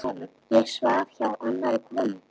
Ég svaf hjá annarri konu.